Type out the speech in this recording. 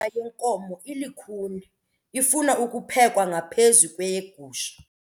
yenkomo ilukhuni ifuna ukuphekwa ngaphezu kweyegusha.